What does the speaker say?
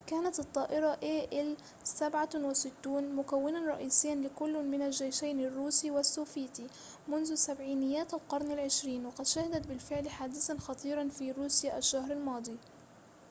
كانت الطائرة إي إل-76 مكوناً رئيسياً لكل من الجيشين الروسي والسوفيتي منذ سبعينيات القرن العشرين وقد شهدت بالفعل حادثاً خطيراً في روسيا الشهر الماضي